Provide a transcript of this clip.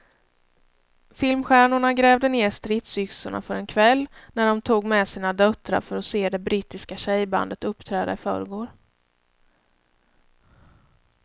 Filmstjärnorna grävde ned stridsyxorna för en kväll när de tog med sina döttrar för att se det brittiska tjejbandet uppträda i förrgår.